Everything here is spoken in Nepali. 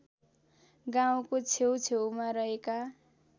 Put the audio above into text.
गाउँको छेउछेउमा रहेका